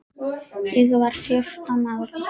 Ég var fjórtán ára.